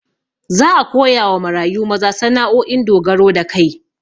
Za a koyawa marayu maza sana'o'in dogaro da kai